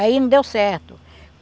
Aí não deu certo.